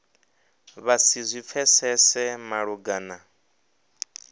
vha si zwi pfesese malugana